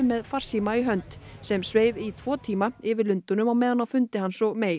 með farsíma í hönd sem sveif í tvo tíma yfir Lundúnum á meðan fundi hans og